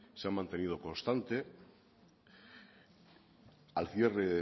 se ha mantenido constante al cierre